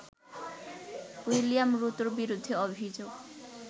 William রুতোর বিরুদ্ধে অভিযোগ